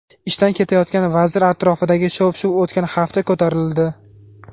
Ishdan ketayotgan vazir atrofidagi shov-shuv o‘tgan hafta ko‘tarildi.